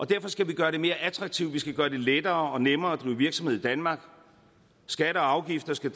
derfor skal vi gøre det mere attraktivt og vi skal gøre det lettere og nemmere at driver virksomhed i danmark skatter og afgifter skal